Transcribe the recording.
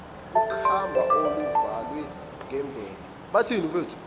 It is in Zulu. ukhamba oluvalwe ngembenge